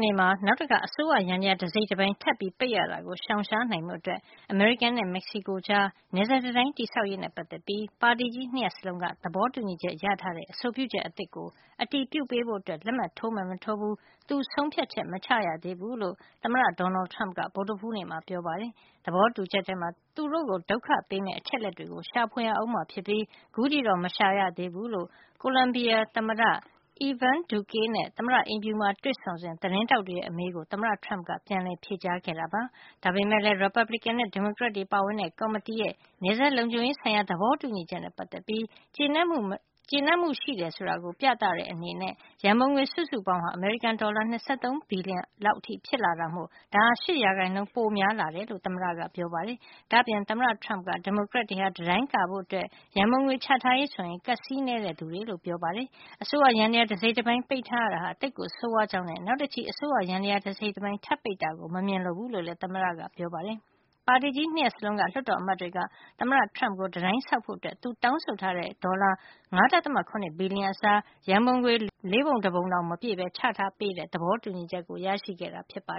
နေ့မှာ နောက်တခါ အစိုးရယန္တရား တစိတ်တပိုင်းထပ်ပိတ်ရတာကို ရှောင်နိုင်ဖို့ အတွက် အမေရိကန်နဲ့ မက္ကဆီကိုကြား နယ်စပ်တံတိုင်း တည်ဆောက်ရေးနဲ့ ပတ်သက်ပြီး ပါတီကြီး ၂ ရပ်စလုံးက သဘောတူညီချက် ရထားတဲ့ အဆိုပြုချက်အသစ်ကို အတည်ပြု ပေးဖို့ လက်မှတ် ထိုးမယ်မထိုးဘူး သူဆုံးဖြတ်ချက် မချရသေးဘူးလို့ သမ္မတ Donald Trump က ဗုဒ္ဓဟူးနေ့မှာ ပြောပါတယ်။ သဘောတူချက်ထဲမှာ သူတို့ကို ဒုက္ခပေးမယ့် အချက်တွေကို ရှာဖွေရအုံးမှာ ဖြစ်ပြီး အခုထိတော့ မရှာရသေးဘူးလို့ ကိုလံဘီယာသမ္မတ Ivan Duque နဲ့ သမ္မတအိမ်ဖြူမှာ တွေ့ဆုံစဉ် သတင်းထောက်တွေရဲ့အမေးကို သမ္မတ Trump က ပြန်လည် ဖြေကြားခဲ့တာပါ။ ဒါပေမယ့်လည်း ရီပတ်ဘလစ်ကင်နဲ့ ဒီမိုကရက်တွေပါဝင်တဲ့ ကော်မတီရဲ့ နယ်စပ် လုံခြုံရေး ဆိုင်ရာ သဘောတူညီချက်နဲ့ ပတ်သက်ပြီး ကျေနပ်မှု ရှိကြောင်း ပြတဲ့အနေနဲ့ ရံပုံငွေ စုစုပေါင်းဟာ အမေရိကန်ဒေါ်လာ ၂၃ ဘီလျံ လောက်အထိ ဖြစ်လာတာမို့ ဒါဟာ ၈% ပိုများလာတာဖြစ်ကြောင်း သမ္မတက ပြောပါတယ်။ ဒါ့အပြင် သမ္မတ Trump က ဒီမိုကရက်တွေဟာ တံတိုင်းကာဖို့ ရံပုံငွေ ချထားရေးဆိုရင် ကပ်စေးနှဲတဲ့ သူတွေလို့ ဆိုပါတယ်။ အစိုးရယန္တရား တစိတ်တပိုင်း ပိတ်ထားတာဟာ သိပ်ဆိုးဝါးကြောင်းနဲ့ နောက်တချီ အစိုးရယန္တရား တစိတ်တပိုင်း ထပ်ပိတ်တာကို မမြင်လိုဘူးလို့လည်း သမ္မတက ပြောပါတယ်။ ပါတီကြီး ၂ ရပ်စလုံးက လွှတ်တော်အမတ်တွေက သမ္မတ Trump ကို တံတိုင်းဆောက်ဖို့ သူတောင်းဆိုတဲ့ ဒေါ်လာ ၅.၇ ဘီလျံအစား ရံပုံငွေ လေးပုံတပုံတောင် မပြည့်ဘဲ ချထားပေးတဲ့ သဘောတူညီချက်ကို ရခဲ့တာ ဖြစ်ပါ